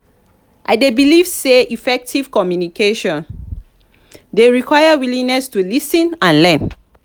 i dey believe say effective communication dey require willingness to lis ten and learn.